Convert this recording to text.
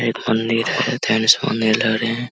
एक मंदिर है। लग रहे है।